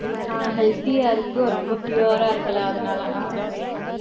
ஆஹ் healthy ஆ இருக்கு, ரொம்ப pure ஆ இருக்குல, அதுனால ஆஹ் right ட்டு.